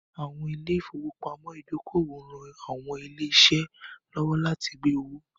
Àwọn ilé ìfowópamọ́ ìdókòwò ń ran àwọn ilé-iṣẹ́ lọ́wọ́ láti gbé owó